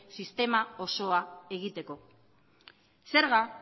sistema osoa egiteko zerga